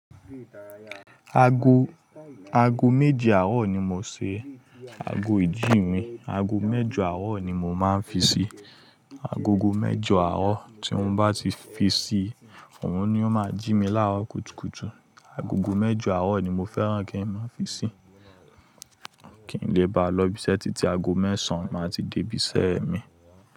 Ago, ago méje àárọ̀ ni mo ṣẹ, ago ìjí mi, ago mẹ́jọ àárọ̀ ni mo máa ń fi ṣí. Agogo mẹ́jọ àárọ̀ tí mọ̀ bá ti fi ṣí, ọ̀ún ni ó máa jí mi láàárọ̀ kùtùkùtù. Agogo mẹ́jọ àárọ̀ ni mo fẹ́ràn kí n fi ṣí. Kì n lè ba lọ ibiṣẹ́ títí ago mẹ́sàn máa ti dé ibiṣẹ́ mi.